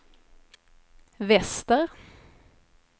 väster